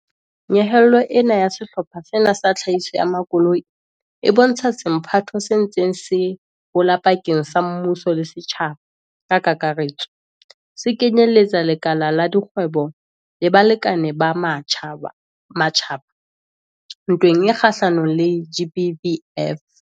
Nyehelo ena ya sehlopha sena sa tlhahiso ya makoloi e bontsha semphato se ntseng se hola pakeng tsa mmuso le setjhaba ka kakaretso, se kenyeletsang lekala la dikgwebo le balekane ba matjhaba, ntweng e kgahlanong le GBVF.